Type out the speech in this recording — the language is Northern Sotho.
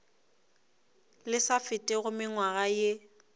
le sa fetego mengwaga ye